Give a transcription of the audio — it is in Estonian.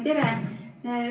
Tere!